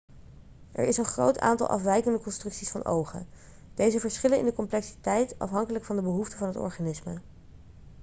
er is een groot aantal afwijkende constructies van ogen deze verschillen in de complexiteit afhankelijk van de behoeften van het organisme